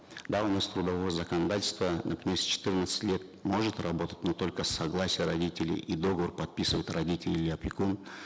да у нас с трудового законодательства например с четырнадцати лет может работать но только с согласия родителей и договор подписывают родители или опекун